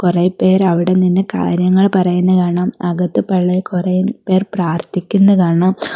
കൊറേ പേരവിടെനിന്ന് കാര്യങ്ങൾ പറയുന്ന കാണാം അകത്ത് പള്ളീൽ കൊറേപ്പേർ പ്രാർത്ഥിക്കുന്ന കാണാം.